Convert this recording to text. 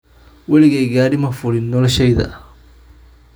Waligay gaadhi ma fuliin noloshayda